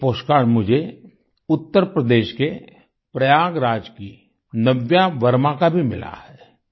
एक postcard मुझे उत्तर प्रदेश के प्रयागराज की नव्या वर्मा का भी मिला है